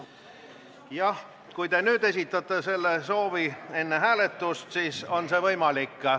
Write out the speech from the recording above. Jah, kui te esitate selle soovi nüüd, enne hääletust, siis on see võimalik.